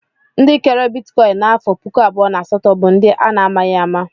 Ndị kere bitikọin n'afọ puku abụọ na asatọ bụ ndị a na-amaghi ama.